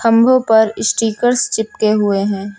खंभों पर स्टिकर्स चिपके हुए है।